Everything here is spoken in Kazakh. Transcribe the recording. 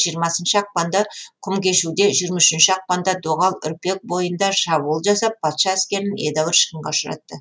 жиырмасыншы ақпанда құмкешуде жиырма үшінші ақпанда доғал үрпек бойында шабуыл жасап патша әскерін едәуір шығынға ұшыратты